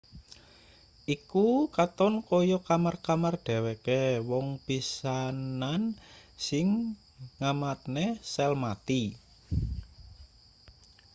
iku katon kaya kamar-kamar dheweke wong pisanan sing ngamatne sel mati